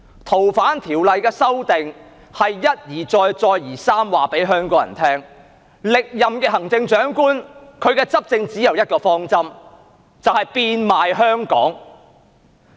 《逃犯條例》的修訂，是一而再、再而三地告訴香港人，歷任行政長官的執政只有一個方針，就是變賣香港。